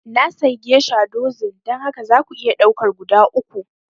Na sayi geisha dozin, don haka za ku iya ɗaukar guda uku